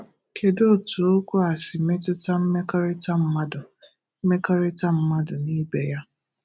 Kedu otu okwu a si metụta mmekorita mmadu mmekorita mmadu na ibe ya?